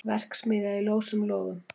Verksmiðja í ljósum logum